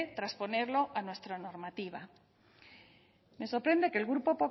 transponerlo a nuestra normativa me sorprende que el grupo